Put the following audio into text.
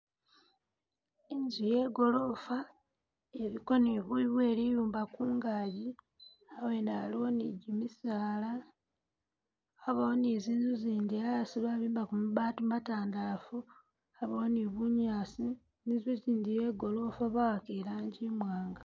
Inzu iye gorofa iliko ni buyu bwe liyumba kungaji, abwene aliwo ni gimisaala, abawo ni zinzu zindi asi babimbako mabaati matandalaafu abawo ni bunyaasi, inzu gyindi iye gorofa ba'aka i'langi imwaanga.